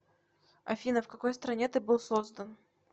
афина в какой стране ты был создан